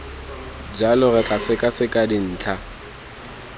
jalo re tla sekaseka dintlha